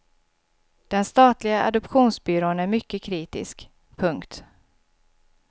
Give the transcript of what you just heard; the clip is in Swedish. Den statliga adoptionsbyrån är mycket kritisk. punkt